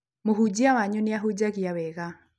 Mũhunjia wanyu nĩ ahunjagia wega.